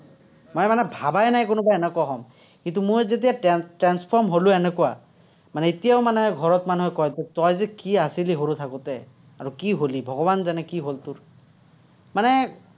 মই মানে নাই এনেকুৱা হ'ম। কিন্তু, মই যেতিয়া transform হ'লো এনেকুৱা, মানে এতিয়াও মানে ঘৰত মানুহে কয় যে, তই যে কি আছিলি সৰু থাকোতে, আৰু কি হ'লি, ভগবান জানে কি হ'ল তোৰ। মানে